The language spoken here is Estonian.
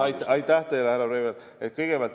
Aitäh teile, härra Breivel!